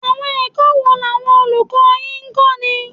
Àwọn ẹ̀kọ́ wo làwọn olùkọ́ yín ń kọ́ni?